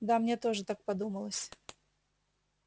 да мне тоже так подумалось